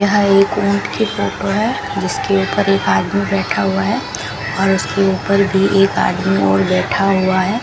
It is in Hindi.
यहां एक ऊंट की फोटो है जिसके ऊपर एक आदमी बैठा हुआ है और उसके ऊपर भी एक आदमी और बैठा हुआ है।